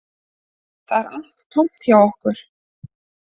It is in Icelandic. Það er allt tómt hjá okkur